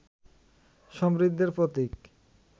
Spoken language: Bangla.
সমৃদ্ধির প্রতীক